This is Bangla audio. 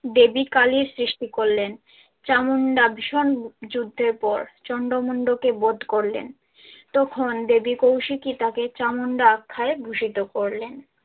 দেবী কালীর সৃষ্টি করলেন। চামন্ডা ভীষণ যুদ্ধের পর চন্ডমুন্ডকে বধ করলেন। তখন দেবী কৌশিকী তাকে চামুণ্ডা আখ্যায় ভূষিত করলেন।